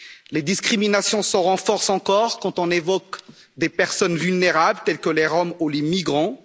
Les discriminations se renforcent encore quand on évoque des personnes vulnérables, tels que les Roms ou les migrants.